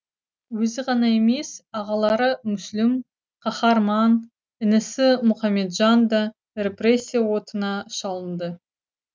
өзі ғана емес ағалары мүсілім қаһарман інісі мұқаметжан да репрессия отына шалынды